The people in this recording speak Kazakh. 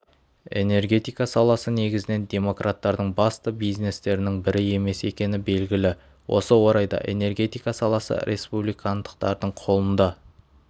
энергетика саласы негізінен демократтардың басты бизнестерінің бірі емес екені белгілі осы орайда энергетика саласы республикандықтардың қолында